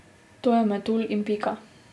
To je metulj in pika.